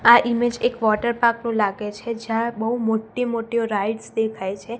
આ ઈમેજ એક water park નું લાગે છે જ્યાં બઉ મોટી મોટી રાઇડ્સ દેખાય છે.